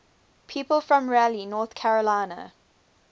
people from raleigh north carolina